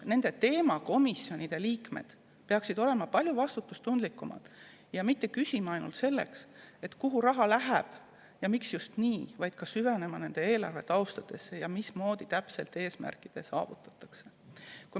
Nende teemakomisjonide liikmed peaksid olema palju vastutustundlikumad ja küsima mitte ainult seda, kuhu raha läheb ja miks just nii, vaid süvenema ka eelarve tausta, mismoodi täpselt eesmärgid saavutatakse.